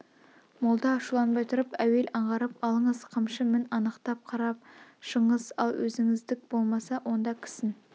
молда ашуланбай тұрып әуел аңғарып алыңыз қамшы мін анықтап қарап шығыңыз ал өзіңіздік болмаса онда кісін